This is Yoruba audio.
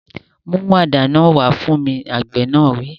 Mú àdá náà wá fún mi! Àgbẹ̀ náà wí.